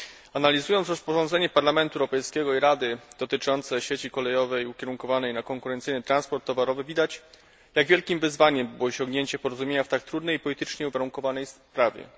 Analizując rozporządzenie Parlamentu Europejskiego i Rady dotyczące sieci kolejowej ukierunkowanej na konkurencyjny transport towarowy, widać jak wielkim wyzwaniem było osiągnięcie porozumienia w tak trudnej i politycznie uwarunkowanej sprawie.